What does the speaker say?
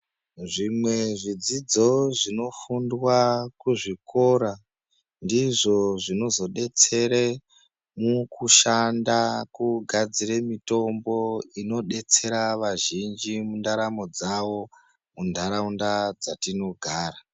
Zvimwe zvidzidzo zvinofundwa kuzvikora ndizvo zvinozodetsere mukushanda kugadzire mutombo inodetsera vazhinji mundaramo dzawo muntaraunda dzatinogara.